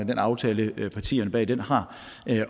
den aftale partierne bag den har